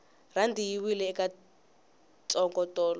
rhandi yi wile ka ntsongo tolo